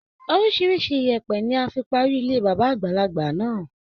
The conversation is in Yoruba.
Orísirísi ìyẹ̀pẹ̀ ni a fi parí ilé bàbá àgbàlagbà náà.